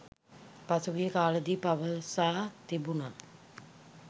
පසුගිය කාලයේදී පවසා තිබුණ